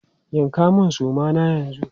Yanka mun suma na yanzu!